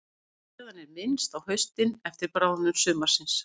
Ísbreiðan er minnst á haustin eftir bráðnun sumarsins.